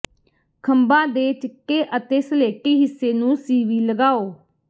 ਖੰਭਾਂ ਦੇ ਚਿੱਟੇ ਅਤੇ ਸਲੇਟੀ ਹਿੱਸੇ ਨੂੰ ਸੀਵੀ ਲਗਾਓ